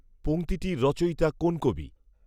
পঙক্তিটির রচয়িতা কোন কবি?